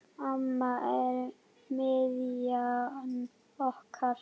Amma er miðjan okkar.